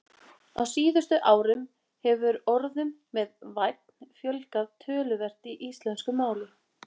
Á síðustu árum hefur orðum með- vænn fjölgað töluvert í íslensku máli.